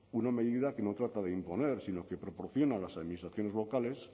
una medida que no trata de imponer sino que proporciona a las administraciones locales